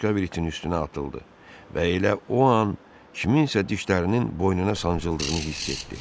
O başqa bir itin üstünə atıldı və elə o an kimsənin dişlərinin boynuna sancıldığını hiss etdi.